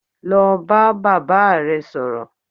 Lọ bá bàbá rẹ sọ̀rọ̀!